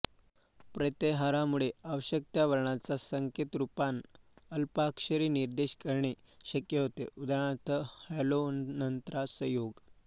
प्रत्याहारांमुळे आवश्यक त्या वर्णांचा संकेतरूपान अल्पाक्षरी निर्देश करणे शक्य होते उदा हलोऽनन्तराः संयोगः